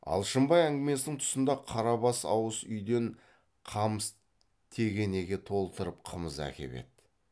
алшынбай әңгімесінің тұсында қарабас ауыз үйден қамыс тегенеге толтырып қымыз әкеп еді